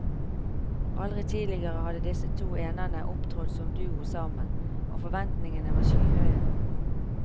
Aldri tidligere hadde disse to enerne opptrådt som duo sammen, og forventningene var skyhøye.